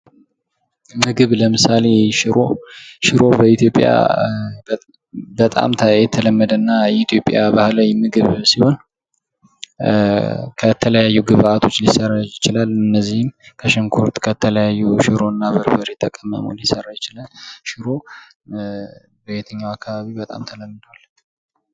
ምግብ ለምሳሌ ሽሮ ሽሮ በኢትዮጵያ በጣም የተለመደና የኢትዮጵያ ባህላዊ ምግብ ሲሆን ከተለያዩ ግብዓቶች ሊሰራ ይችላል እነዚህም ከሽንኩርት ከተለያዩ ሽሮናበርበሬ ተቀመሞ ሊሰራ ይችላል ሽሮ በየትኛው አካባቢ በጣም ተለምዷል